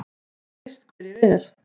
Þú veist hver ég er.